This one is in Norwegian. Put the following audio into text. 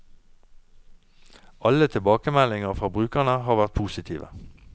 Alle tilbakemeldinger fra brukerne har vært positive.